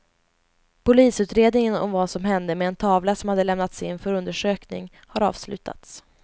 Polisutredningen om vad som hände med en tavla som hade lämnats in för undersökning har avslutats.